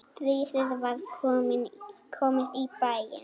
Stríðið var komið í bæinn!